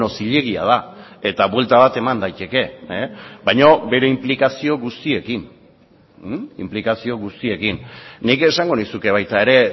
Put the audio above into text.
zilegia da eta buelta bat eman daiteke baina bere inplikazio guztiekin inplikazio guztiekin nik esango nizuke baita ere